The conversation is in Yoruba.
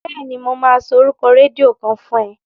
Bẹ́ẹ̀ni, mo máa sọ orúkọ rédíò kan fún ẹ.